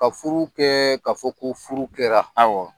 Ka furu kɛ ka fɔ ko furu kɛra.